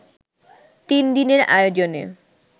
তিন দিনের আয়োজনে